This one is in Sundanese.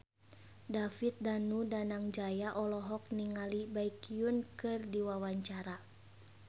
David Danu Danangjaya olohok ningali Baekhyun keur diwawancara